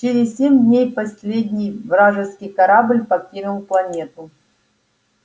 через семь дней последний вражеский корабль покинул планету